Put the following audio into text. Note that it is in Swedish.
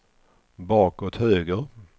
bakåt höger